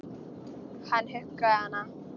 Hann huggaði hana.